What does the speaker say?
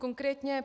Konkrétně: